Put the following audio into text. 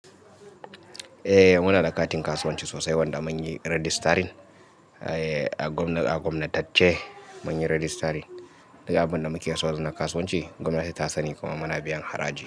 Eh muna da katin kasuwanci sosai wanda mun yi registering, eh a gwamna-- a gwamnatacce mun yi registering. Duk abin da muke sau da na kasuwanci gwamnati ta sani kuma muna biyan haraji.